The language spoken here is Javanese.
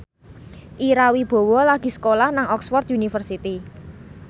Ira Wibowo lagi sekolah nang Oxford university